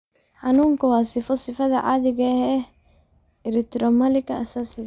Xanuunku waa sifo sifada caadiga ah ee erythromelalgia aasaasiga ah.